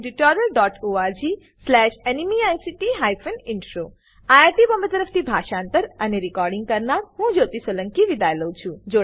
httpspoken tutorialorgNMEICT Intro IIT Bombay તરફથી હું જ્યોતી સોલંકી વિદાય લઉં છું